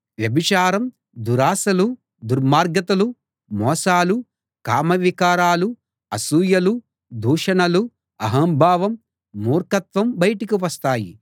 వ్యభిచారం దురాశలు దుర్మార్గతలు మోసాలు కామవికారాలు అసూయలు దూషణలు అహంభావం మూర్ఖత్వం బయటకు వస్తాయి